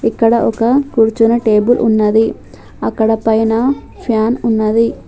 ఇక్కడ ఒక కూర్చునే టేబుల్ ఉన్నది అక్కడ పైన ఫ్యాన్ ఉన్నది.